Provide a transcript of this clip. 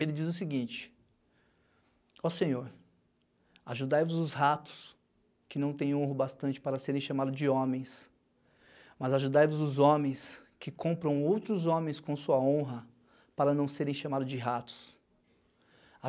Ele diz o seguinte, ó senhor, ajudai-vos os ratos que não tem honro bastante para serem chamados de homens, mas ajudai-vos os homens que compram outros homens com sua honra para não serem chamados de ratos.